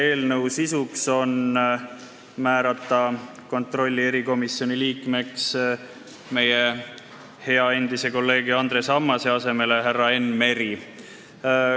Selle sisu on määrata riigieelarve kontrolli erikomisjoni liikmeks meie hea endise kolleegi Andres Ammase asemel härra Enn Meri.